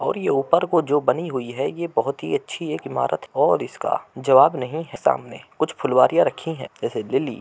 और यह ऊपर को जो बनी हुई है। यह बहुत ही अच्छी एक इमारत और इसका जवाब नहीं है। सामने कुछ फुलवरिया रखी है जैसे लिली --